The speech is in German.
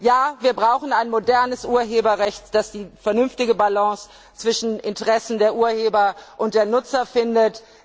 Ja, wir brauchen ein modernes Urheberrecht, das die vernünftige Balance zwischen Interessen der Urheber und der Nutzer findet.